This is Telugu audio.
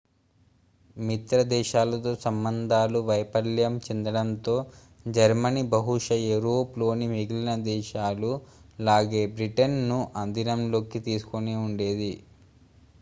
మిత్రదేశాలతో సంబంధాలు వైఫల్యం చెందటంతో జర్మనీ బహుశా యూరప్ లోని మిగిలిన దేశాలు లాగే బ్రిటన్ ను అధీనంలోకి తీసుకుని ఉండేది